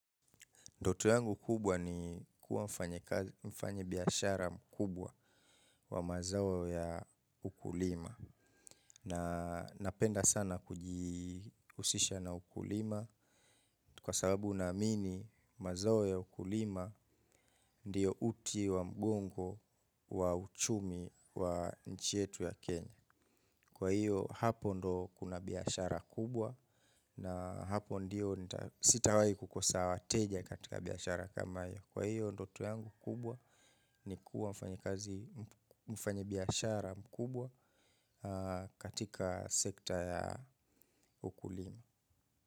Ndoto yangu kubwa ni kuwa mfanyi biashara mkubwa wa mazao ya ukulima. Na napenda sana kujihusisha na ukulima. Kwa sababu na amini mazao ya ukulima ndio uti wa mgongo wa uchumi wa nchi yetu ya Kenya. Kwa hio, hapo ndio kuna biashara kubwa na hapo ndio sitawahi kukosa wateja katika biashara kama hii. Kwa hio ndoto yangu kubwa ni kuwa mfanyika biashara mkubwa katika sekta ya ukulima.